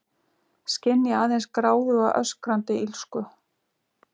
Skynja aðeins gráðuga, öskrandi illsku.